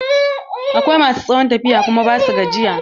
Akwai ma su tsawon tafiya kuma ba su gajiya.